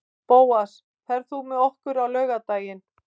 Bóas, ferð þú með okkur á laugardaginn?